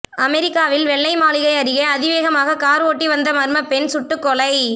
அமெரிக்காவில் வெள்ளை மாளிகை அருகே அதிவேகமாக கார் ஓட்டி வந்த மர்ம பெண் சுட்டுக்கொலை